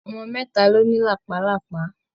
Ọmọ mẹ́ta ló ní làpálàpá.